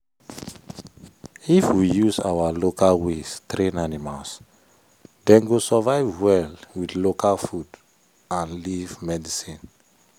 if we use our local ways train animals dem go survive well with local food and leaf medicine.